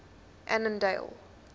annandale